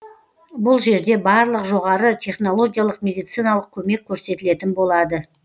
бұл жерде барлық жоғары технологиялық медициналық көмек көрсетілетін болады